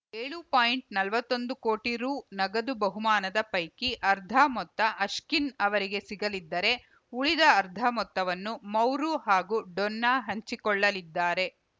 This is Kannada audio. ಏಳು ಪಾಯಿಂಟ್ ನವತ್ತೊಂದು ಕೋಟಿ ರು ನಗದು ಬಹುಮಾನದ ಪೈಕಿ ಅರ್ಧ ಮೊತ್ತ ಅಶ್ಕಿನ್‌ ಅವರಿಗೆ ಸಿಗಲಿದ್ದರೆ ಉಳಿದ ಅರ್ಧ ಮೊತ್ತವನ್ನು ಮೌರು ಹಾಗೂ ಡೊನ್ನಾ ಹಂಚಿಕೊಳ್ಳಲಿದ್ದಾರೆ